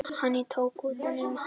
Og hann tók utan um hana.